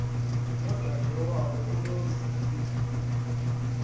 yodade wabo unozici